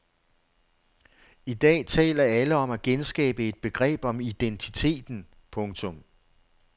I dag taler alle om at genskabe et begreb om identiteten. punktum